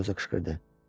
Eliyosa qışqırdı.